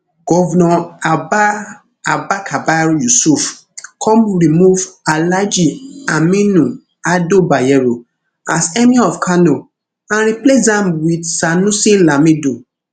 govnor abba abba kabir yusuf come remove alhaji aminu ado bayero as emir of kano and replace am wit sanusi lamido